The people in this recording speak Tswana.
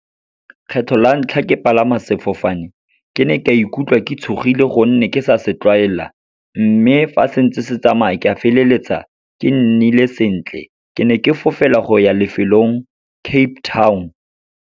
Kgetlho la ntlha ke palama sefofane, ke ne ka ikutlwa ke tshogile gonne ke sa se tlwaela, mme fa se ntse se tsamaya, ke a feleletsa ke nnile sentle. Ke ne ke fofela goya lefelong Cape Town.